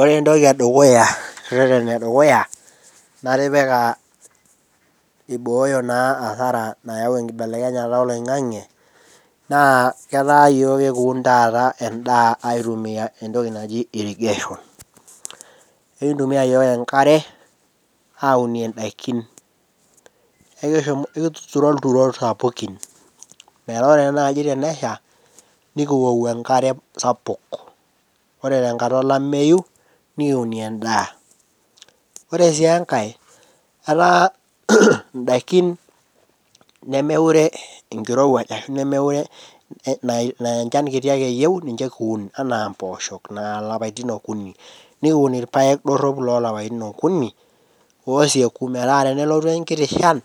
Ore entoki edukuya rreteni edukuya naatipika eibooyo naa asara nayau enkibelekenyata eloing'ag'e naa ketaa yook ekiun taata endaa aitumiya entoki naji irrigation. Ekintumiya yook enkare aunie indakin. Ekituturo ilturot sapekin metaa ore naai tenesha nikiwou enkare sapuk. Ore tenkata olameiyu nikiunie endaa. Ore sii enkae etaa indakin nemekure inkerewuaj ashu nemekure naa enchan kiti ake eyeu ninche kiun, anaa empoosho naa ilapatin okuni, nikun irpaek doropi loo lapatin okuni, ooseku metaa tenelotu enkiti inshan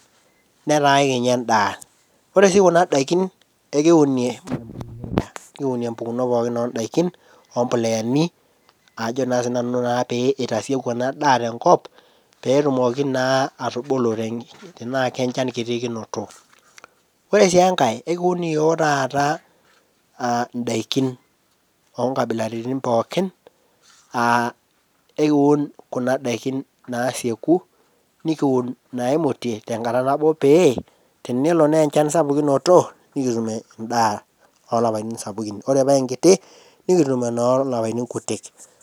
netaa ekinya endaa. Ore sii kuna indakin ekiunie impukonot pookin ondakin ompoleani ajo naa sii nanu pee eitasieku enadaa tenkop, peetumoki naa atubulu tenaa ake enchan kiti kinoto. Ore si enkae ekiun yook taata ndaikin oonkabilaritin pookin, aa ekiun kuna daiki naasieku, nikun naimutie tenkata nabo pee tenelo naa enchan sapuk kinoto, nikitum endaa olapatin sapukin, ore paa enkiti nikitum enoo lapatin kutii.